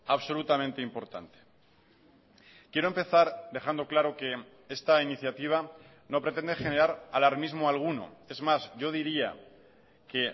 absolutamente importante quiero empezar dejando claro que esta iniciativa no pretende generar alarmismo alguno es más yo diría que